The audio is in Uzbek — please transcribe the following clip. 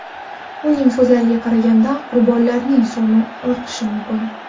Uning so‘zlariga qaraganda, qurbonlarning soni ortishi mumkin.